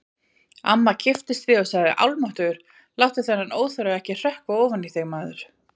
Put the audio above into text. Amma kipptist við og sagði: Almáttugur, láttu þennan óþverra ekki hrökkva ofan í þig, maður